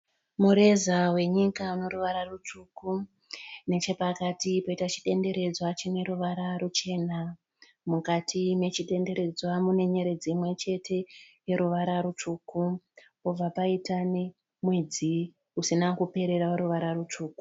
Mureza wenyika uneruvara rutsvuku. Nechepakati poita chidenderedzwa chineruvara ruchena. Mukati mechidenderedzwa munenyeredzi imwe chete yeruvara rutsvuku. Pobva paita nemwedzi usina kuperera weruvara rutsvuku.